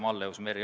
Suur tänu!